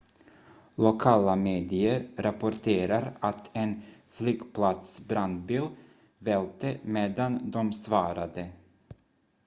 lokala medier rapporterar att en flygplatsbrandbil välte medan de svarade